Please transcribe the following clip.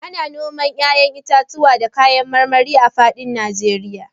Ana noman 'ya'yan itatuwa da kayan marmari a fadin Najeriya